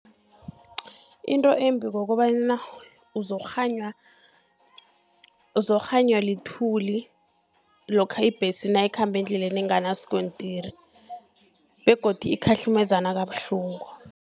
Into embi kokobana uzokukghanywa lithuli, lokha ibhesi nayikhamba endleleni enganaskontiri, begodi ikhahlumezana kabuhlungu.